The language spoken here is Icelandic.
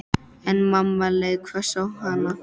En mamma leit hvöss á hana.